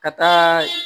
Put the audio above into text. Ka taa